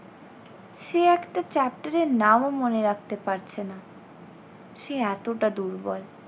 সে একটা chapter এর নামও রাখতে পারছে না সে এতটা দুর্বল।